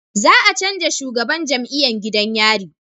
Za a canja shugaban jam'iyan gidan yari